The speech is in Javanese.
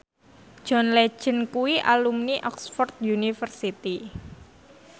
John Legend kuwi alumni Oxford university